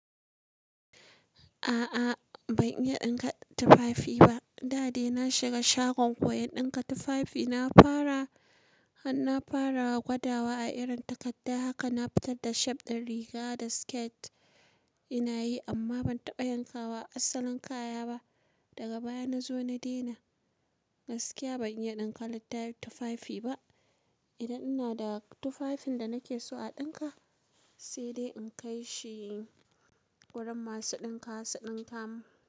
A'a ban iya ɗinka tufafi ba. Da dai na shiga shagon koyan ɗinka tufafi na fara, har na fara gwadawa a irin takadda haka na fitar da shape ɗin riga da skirt ina yi amma ban taɓa yanka wa asalin kaya ba. Daga baya na zo na daina. Gaskiya ban iya ɗinka tufafi ba. Idan ina da tufafin da nake so a ɗinka sai dai in kai shi wurin masu ɗinkawa su ɗinka mun.